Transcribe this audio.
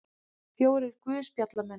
Fjórir guðspjallamenn.